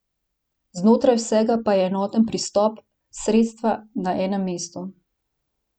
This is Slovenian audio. Znotraj vsega pa je enoten pristop, sredstva na enem mestu.